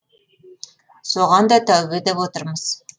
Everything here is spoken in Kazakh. соған да тәубе деп отырмыз